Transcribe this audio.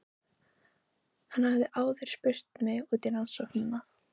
Hann hafði áður spurt mig út í rannsóknina.